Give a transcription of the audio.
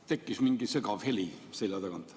Tekkis mingi segav heli selja tagant.